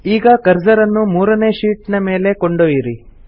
ಈಗ ಕರ್ಸರ್ ಅನ್ನು ಮೂರನೇ ಶೀಟ್ ನ ಮೇಲೆ ಕೊಂಡೊಯ್ಯಿರಿ